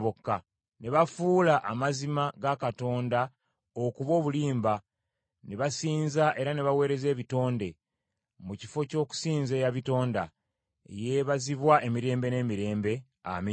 Ne bafuula amazima ga Katonda okuba obulimba ne basinza era ne baweereza ebitonde, mu kifo ky’okusinza eyabitonda, eyeebazibwa emirembe n’emirembe. Amiina.